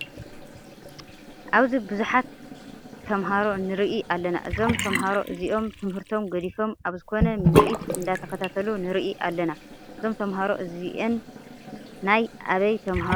ኣብዚ ቡዙሓት ተማሃሪ ንርኢ ኣለና። እዞም ተማሃሮ እዚኦም ትምህርቶም ገዲፎም ኣብ ዝኮነ ምርኢት እንደተከታተሉ ንርኢ ኣለና። እዞም ተማሃሮ እዚኦን ናይ ኣበይ ተማሃሮ እዮም?